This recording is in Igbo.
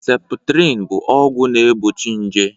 Septrin bụ ọgwụ na egbochi nje